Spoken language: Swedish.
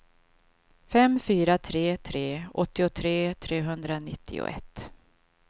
fem fyra tre tre åttiotre trehundranittioett